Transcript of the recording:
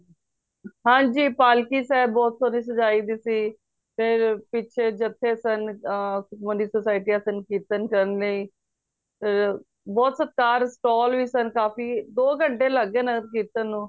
ਹਨਜੀ ਪਾਲਕੀ ਸਾਹਿਬ ਬਹੁਤ ਸੋਹਣੀ ਸਜਾਇ ਦੀ ਸੀ ਤੇ ਪਿਛੇ ਜਥ੍ਹੇ ਸਨ ਅ ਸੁਖਮਨੀ society ਸਨ ਕੀਰਤਨ ਸਨ ਅ ਬਹੁਤ ਸਤਿਕਾਰ stall ਵੀ ਸਨ ਕਾਫੀ ਦੋ ਘੰਟੇ ਲੱਗ ਗਏ ਨਗਰ ਕੀਰਤਨ ਨੂੰ